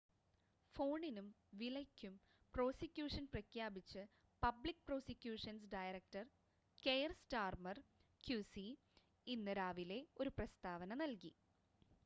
ഫോണിനും വിലയ്ക്കും പ്രോസിക്യൂഷൻ പ്രഖ്യാപിച്ച് public prosecutions director Keir Starmer QC ഇന്ന് രാവിലെ ഒരു പ്രസ്താവന നൽകി